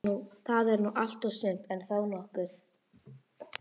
Það er nú allt og sumt, en þó nokkuð.